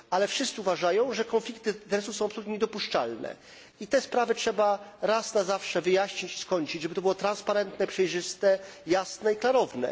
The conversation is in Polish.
Ale wszyscy uważają, że konflikty interesów są absolutnie niedopuszczalne i te sprawy trzeba raz na zawsze wyjaśnić, skończyć, żeby to było transparentne, przejrzyste, jasne i klarowne.